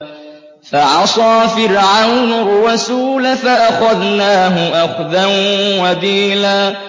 فَعَصَىٰ فِرْعَوْنُ الرَّسُولَ فَأَخَذْنَاهُ أَخْذًا وَبِيلًا